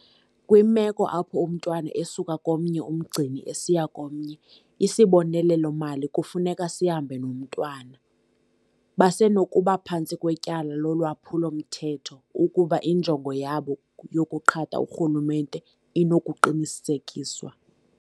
"Kwimeko apho umntwana esuka komnye umngcini esiya komnye, isibonelelo-mali kufuneka sihambe nomntwana. Basenokuba phantsi kwetyala lolwaphulo-mthetho ukuba injongo yabo yokuqhatha urhulumente inokuqinisekiswa."